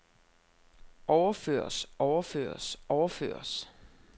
overføres overføres overføres